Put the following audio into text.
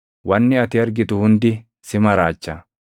Wanni ati argitu hundi si maraacha.